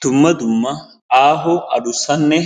Dumma dumma aahonne addussanne